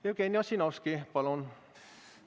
Jevgeni Ossinovski, palun!